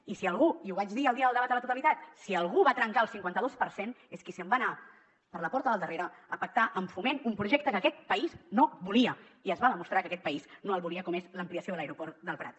i si algú i ho vaig dir el dia del debat a la totalitat va trencar el cinquanta dos per cent és qui se’n va anar per la porta del darrere a pactar amb foment un projecte que aquest país no volia i es va demostrar que aquest país no el volia com és l’ampliació de l’aeroport del prat